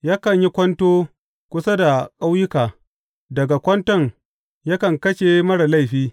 Yakan yi kwanto kusa da ƙauyuka; daga kwanton yakan kashe marar laifi.